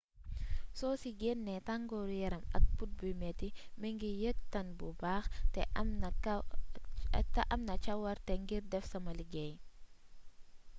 soo ci gennee tangooru yaram ak put buy metti ma ngi yëg tàn bu baax te am naa cawarte ngir def sama liggéey